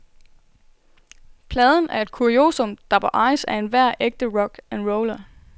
Pladen er et kuriosum, der bør ejes af enhver ægte rock and roller.